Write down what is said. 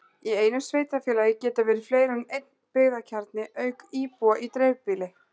Í einu sveitarfélagi geta verið fleiri en einn byggðakjarni auk íbúa í dreifbýli.